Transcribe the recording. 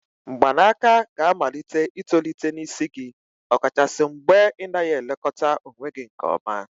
mgbanaka ga amalite itolite n'isi gị, ọkachasị mgbe ị naghị elekọta onwe gị nke ọma